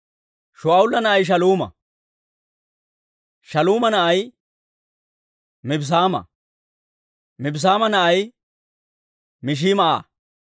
Shaa'ula na'ay Shaaluuma; Shaaluuma na'ay Mibssaama; Mibssaama na'ay Mishimaa'a;